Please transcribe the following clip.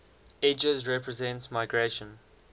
edges represent migration